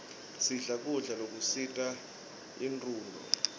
sidle kudla lokusita inronduo